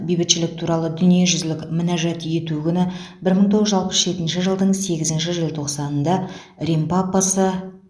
бейбітшілік туралы дүниежүзілік мінәжат ету күні бір мың тоғыз жүз алпыс жетінші жылдың сегізінші желтоқсанында рим папасы